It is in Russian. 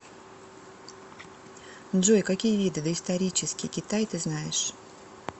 джой какие виды доисторический китай ты знаешь